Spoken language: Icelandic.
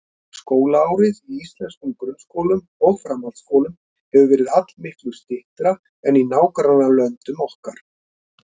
Skólaárið í íslenskum grunnskólum og framhaldsskólum hefur verið allmiklu styttra en í nágrannalöndum okkar.